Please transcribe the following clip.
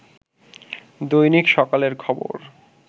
দৈনিক সকালের খবর